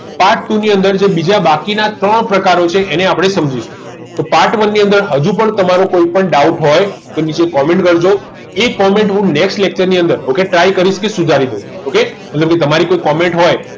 part two ની અંદર આપણે બાકીના ત્રણ પ્રકારો છે એને આપણે સમજીશું part one ની અંદર હતું પણ તમારો કોઈ પણ doubt હોય નીચે comment કરજો એ comment હુ next lecture માં ની અંદર try કરીશ કે સુધારીશ ok તમારી કોઈ comment હોય